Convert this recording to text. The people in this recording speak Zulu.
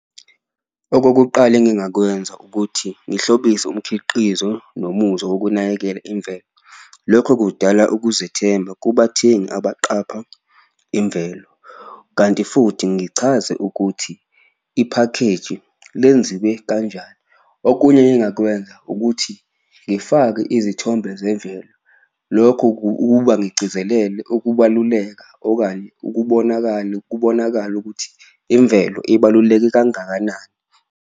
Okokuqala engingakwenza ukuthi ngihlobise umkhiqizo nomuzwa wokunakekela imvelo, lokho kudala ukuzethemba kubathengi abaqapha imvelo, kanti futhi ngichaze ukuthi iphakheji lenziwe kanjani. Okunye engingakwenza ukuthi ngifake izithombe zemvelo, lokho ukuba ngigcizelele ukubaluleka okanye ukubonakale kubonakale ukuthi imvelo ibaluleke kangakanani.